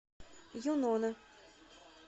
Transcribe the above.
юнона